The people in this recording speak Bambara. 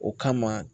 O kama